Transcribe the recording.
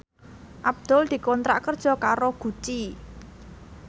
Abdul dikontrak kerja karo Gucci